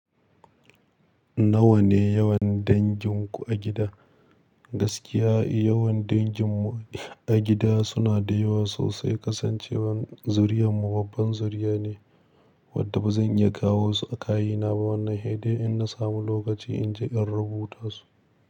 Nawa ne yawan danginku a gida? Gaskiya yawan danginmu a gida suna da yawa sosai, kasancewar zuriyar mu babban zuriya ne wadda ba zan iya kawo su a kayina ba wannan headi in na samu lokaci in je in rubuta su.